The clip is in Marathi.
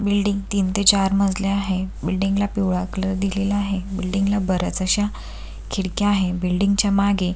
बिल्डिंग तीन ते चार मजली आहे बिल्डिंग ला पिवळा कलर दिलेला आहे बिल्डिंग ला बऱ्याच अश्या खिडक्या आहे बिल्डिंग च्या मागे--